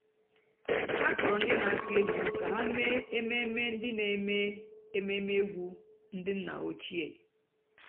há kpọ́rọ́ ndị́ nà-àkụ́ ègwú kà há mèé èmèmé ndị́ nà-èmèé èmèmé ègwú ndị́ nná òchíé.